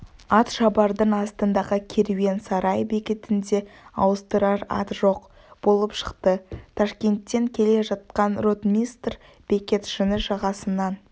атшабардың астындағы керуен сарай бекетінде ауыстырар ат жоқ болып шықты ташкенттен келе жатқан ротмистр бекетшіні жағасынан